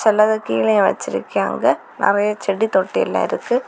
எல்லது கீழயும் வெச்சுருக்காங்க நிறைய செடி தொட்டில இருக்கு.